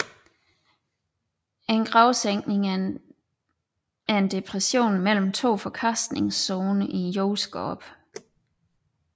En gravsænkning er en depression mellem to forkastningszoner i jordskorpen